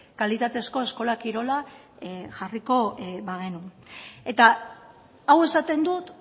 kalitatezko eskola kirola jarriko bagenu eta hau esaten dut